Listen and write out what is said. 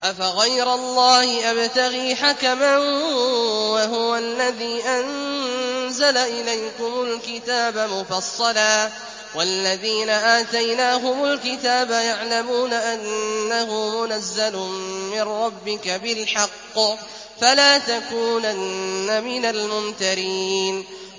أَفَغَيْرَ اللَّهِ أَبْتَغِي حَكَمًا وَهُوَ الَّذِي أَنزَلَ إِلَيْكُمُ الْكِتَابَ مُفَصَّلًا ۚ وَالَّذِينَ آتَيْنَاهُمُ الْكِتَابَ يَعْلَمُونَ أَنَّهُ مُنَزَّلٌ مِّن رَّبِّكَ بِالْحَقِّ ۖ فَلَا تَكُونَنَّ مِنَ الْمُمْتَرِينَ